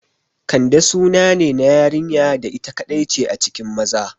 Kande sunane na yarinya da ita kaɗai ce a cikin maza